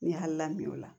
N ye hakili lamin o la